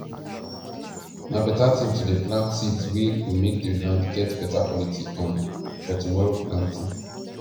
na beta thin to dey plant seeds wey go make the land get better quality um for tomorrow planting